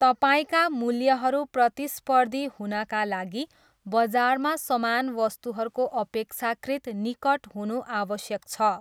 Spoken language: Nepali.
तपाईँका मूल्यहरू प्रतिस्पर्धी हुनाका लागि बजारमा समान वस्तुहरूको अपेक्षाकृत निकट हुनु आवश्यक छ।